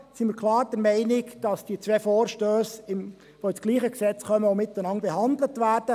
Deshalb sind wir klar der Meinung, dass diese zwei Vorstösse in dasselbe Gesetz kommen und miteinander behandelt werden.